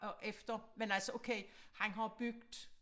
Og efter men altså okay han har bygget